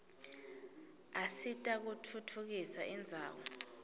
asita kutfutfukisa indzawo